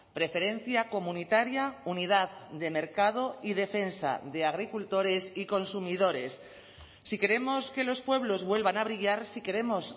preferencia comunitaria unidad de mercado y defensa de agricultores y consumidores si queremos que los pueblos vuelvan a brillar si queremos